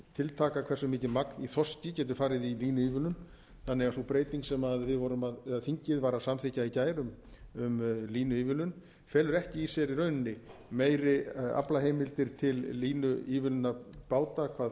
tiltaka hversu mikið magn í þorski getur farið í línuívilnun þannig að sú breyting sem við vorum eða þingið var að samþykkja í gær um línuívilnun felur ekki í sér í rauninni meiri aflaheimildir til línuívilnunar báta hvað